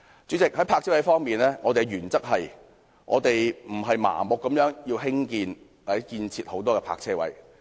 主席，在泊車位方面，我們的原則是，我們不會盲目要求興建或建設很多泊車位。